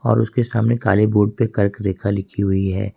और उसके सामने काले बोर्ड पे कर्क रेखा लिखी हुई है।